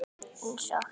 Eins og